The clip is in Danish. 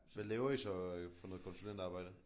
Hvad laver I så for noget konsulentarbejde?